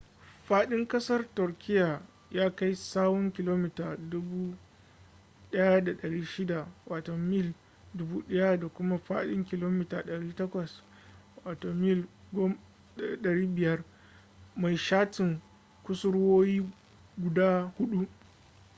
faɗin ƙasar turkiyya ya kai tsawon kilomita 1,600 mil 1,000 da kuma faɗin kilomita 800 mil 500 mai shatin kusurwoyi guda huɗu